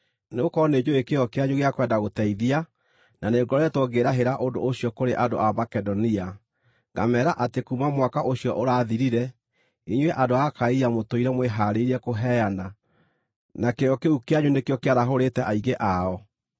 Nĩgũkorwo nĩnjũũĩ kĩyo kĩanyu gĩa kwenda gũteithia, na nĩngoretwo ngĩĩrahĩra ũndũ ũcio kũrĩ andũ a Makedonia, ngameera atĩ kuuma mwaka ũcio ũrathirire, inyuĩ andũ a Akaia mũtũire mwĩhaarĩirie kũheana; na kĩyo kĩu kĩanyu nĩkĩo kĩarahũrĩte aingĩ ao.